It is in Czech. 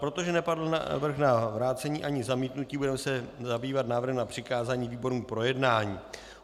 Protože nepadl návrh na vrácení, ani zamítnutí, budeme se zabývat návrhem na přikázání výborům k projednání.